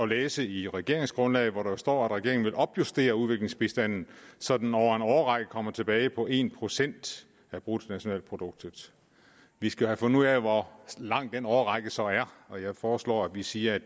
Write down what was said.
læse i regeringsgrundlaget at der står at regeringen vil opjustere udviklingsbistanden så den over en årrække kommer tilbage på en procent af bruttonationalproduktet vi skal have fundet ud af hvor lang den årrække så er og jeg foreslår at vi siger at